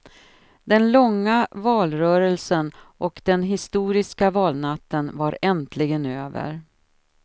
Den långa valrörelsen och den historiska valnatten var äntligen över.